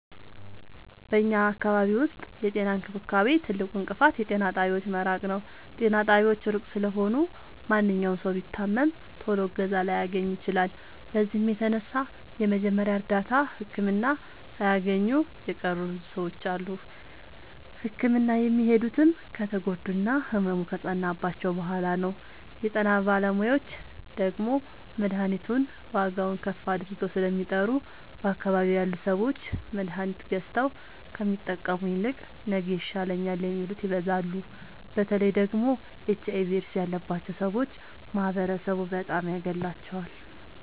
በኛ አካባቢ ዉስጥ የጤና እንክብካቤ ትልቁ እንቅፋት የጤና ጣቢያዎች መራቅ ነዉ። ጤና ጣቢያዎች እሩቅ ስለሆኑ ማንኛዉም ሠዉ ቢታመም ቶሎ እገዛ ላያገኝ ይችላል። በዚህም የተነሣ የመጀመሪያ እርዳታ ህክምና ሣያገኙ የቀሩ ብዙ ሰዎች አሉ። ህክምና የሚሄዱትም ከተጎዱና ህመሙ ከፀናባቸዉ በሗላ ነዉ። የጤና ጣቢያዎች ደግሞ መድሀኒቱን ዋጋዉን ከፍ አድርገዉ ስለሚጠሩ በአካባቢዉ ያሉ ሠዎች መድሀኒት ገዝተዉ ከሚጠቀሙ ይልቅ ነገ ይሻለኛል የሚሉት ይበዛሉ። በተለይ ደግሞ ኤች አይቪ ኤድስ ያባቸዉ ሠዎች ማህበረሡ በጣም ያገላቸዋል።